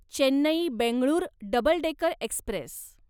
Chennai Bengaluru double decker Express